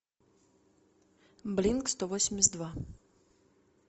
блинк сто восемьдесят два